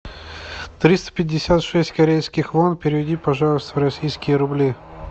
триста пятьдесят шесть корейских вон переведи пожалуйста в российские рубли